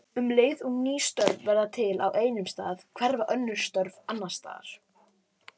Um leið og ný störf verða til á einum stað hverfa önnur störf annars staðar.